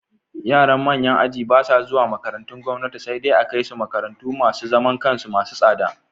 Yaran manyan aji ba sa zuwa makarantun gwamnati, sai dai a kai su makarantu masu zaman kansu masu tsada.